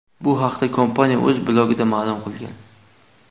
Bu haqda kompaniya o‘z blogida ma’lum qilgan .